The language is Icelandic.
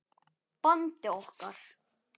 bandi okkar.